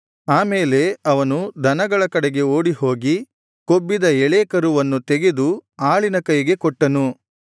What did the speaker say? ಆ ಮೇಲೆ ಅವನು ದನಗಳ ಕಡೆಗೆ ಓಡಿಹೋಗಿ ಕೊಬ್ಬಿದ ಎಳೇ ಕರುವನ್ನು ತೆಗೆದು ಆಳಿನ ಕೈಗೆ ಕೊಟ್ಟನು